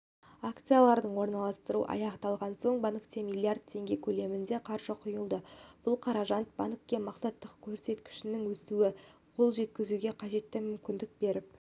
акциялардың орналастырылуы аяқталған соң банкке миллиард теңге көлемінде қаржы құйылды бұл қаражат банкке мақсатты көрсеткіштерінің өсуіне қол жеткізуге қажетті мүмкіндік беріп